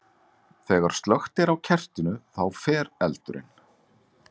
Þegar slökkt er á kertinu, þá fer eldurinn.